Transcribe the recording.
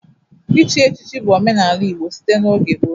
Ichi echichi bụ omenala Igbo site n'oge gboo.